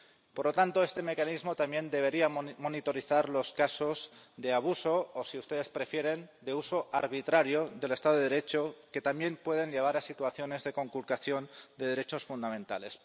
Por lo tanto, este mecanismo también debería monitorizar los casos de abuso o, si ustedes prefieren, de uso arbitrario del Estado de Derecho, que también pueden llevar a situaciones de conculcación de derechos fundamentales.